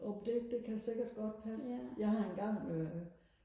jo det det kan sikkert godt passe jeg har engang øh